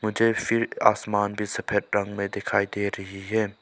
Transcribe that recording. मुझे फिर आसमान भी सफेद रंग में दिखाई दे रही है।